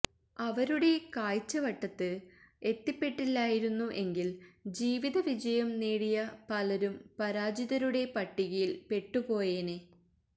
അവരുടെ കാഴ്ചവട്ടത്ത് എത്തിപ്പെട്ടില്ലായിരുന്നു എങ്കിൽ ജീവിത വിജയം നേടിയ പലരും പരാജിതരുടെ പട്ടികയിൽ പെട്ടുപോയേനെ